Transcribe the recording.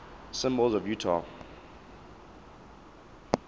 symbols of utah